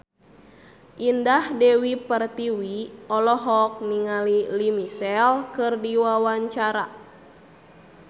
Indah Dewi Pertiwi olohok ningali Lea Michele keur diwawancara